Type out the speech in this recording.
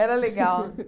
Era legal.